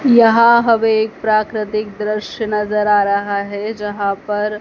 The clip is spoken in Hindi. यहां हमें एक प्राकृतिक दृश्य नजर आ रहा है जहां पर--